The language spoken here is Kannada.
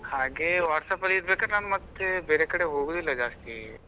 ಹಾಗೆ WhatsApp ಅಲ್ಲಿ ಇರ್ಬೇಕಾದ್ರೆ ನಾನು ಮತ್ತೆ ಬೇರೆ ಕಡೆ ಹೋಗೋದಿಲ್ಲ ಜಾಸ್ತಿ.